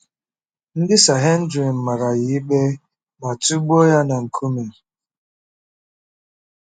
Ndị Sanhedrin mara ya ikpe ma tụgbuo ya na nkume.